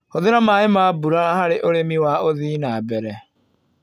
Hũthĩra maĩ ma mbura harĩ ũrimĩ wa ũthii na mbere.